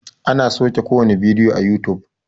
ana sauke kowane bidiyo a yutub